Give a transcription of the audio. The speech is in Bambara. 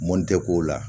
Mɔn tɛ ko la